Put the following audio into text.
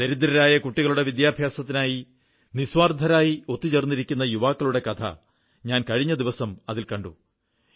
ദരിദ്രരായ കുട്ടികളുടെ വിദ്യാഭ്യാസത്തിനായി നിസ്വാർഥരായി ഒത്തുചേർന്നിരിക്കുന്ന യുവാക്കളുടെ കഥ ഞാൻ കഴിഞ്ഞ ദിവസം അതിൽ കണ്ടു